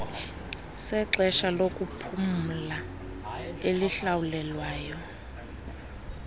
sexesha lokuphumla elihlawulelwayo